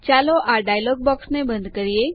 ચાલો આ ડાયલોગ બોક્સને બંધ કરીએ